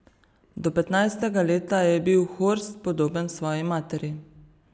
Do petnajstega leta je bil Horst podoben svoji materi.